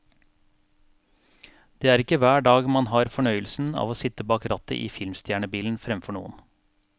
Det er ikke hver dag man har fornøyelsen av å sitte bak rattet i filmstjernebilen fremfor noen.